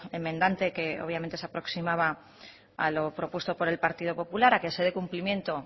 enmendante que obviamente se aproximada a lo propuesto por el partido popular a que se dé cumplimiento